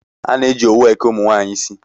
A na-eji owu eke ụmụnwaanyị isi